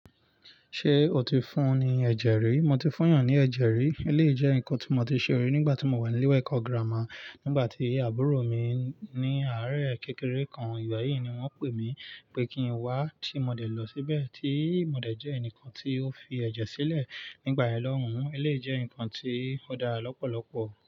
Ṣé o ti fún ni ẹ̀jẹ̀ rí? Mo ti fún yàn ní ẹ̀jẹ̀ rí, eléyìí jẹ́ nǹkan tí mo ti ṣe rí nígbà tí mo wà ní ilé ìwé ẹ̀kọ́ gírámà nígbà tí àbúrò mi ní àárẹ kékeré kan. Ìgbà yíì ni wọ́n pè mí pé kí n wá tí mo dẹ̀ lọ síbẹ̀ tí mo dẹ̀ jẹ́ ẹnìkan tí ó fi ẹ̀jẹ̀ sílẹ̀ nígbà ìlọ́hùn. Eléyìí jẹ́ nǹkan tí ó dára lọ́pọ̀lọpọ̀.